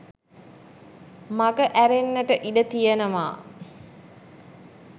මගහැරෙන්නට ඉඩ තියෙනවා